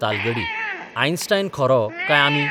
तालगडी Einstein खरो , काय आमी...?